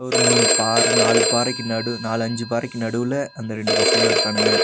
ஒரு மூணு பாற நாலு பாறைக்கு நடு நாலஞ்சு பாறைக்கு நடுவுல அந்த ரெண்டு பசங்களு இருக்கானுங்க.